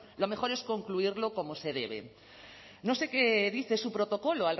lo mejor es concluirlo como se debe no sé qué dice su protocolo